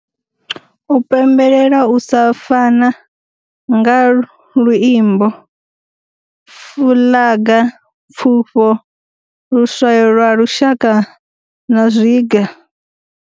U pembelelela u sa fana nga luimbo, fuḽaga, pfufho, luswayo lwa lushaka na zwiga.